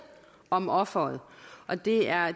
om offeret og det er